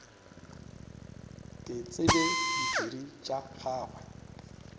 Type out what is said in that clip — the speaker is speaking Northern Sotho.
ke tsebe diphiri tša gagwe